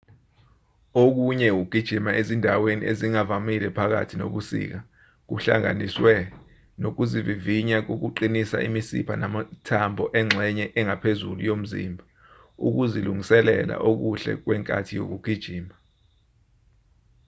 okunye ukugijima ezindaweni ezingavamile phakathi nobusika kuhlanganiswe nokuzivivinya kokuqinisa imisipha namathambo engxenye engaphezulu yomzimba ukuzilungiselela okuhle kwenkathi yokugijima